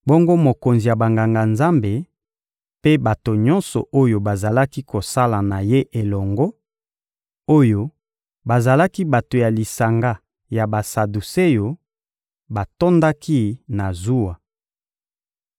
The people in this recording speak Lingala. Bongo mokonzi ya Banganga-Nzambe mpe bato nyonso oyo bazalaki kosala na ye elongo, oyo bazalaki bato ya lisanga ya Basaduseo, batondaki na zuwa.